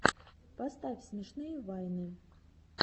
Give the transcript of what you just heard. поставь смешные вайны